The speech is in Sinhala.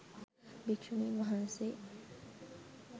භික්‍ෂුණින් වහන්සේ